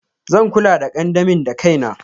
Zan kula the kandamin dakaina.